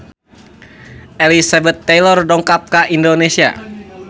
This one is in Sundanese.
Elizabeth Taylor dongkap ka Indonesia